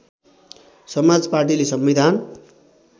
समाज पाटीले संविधान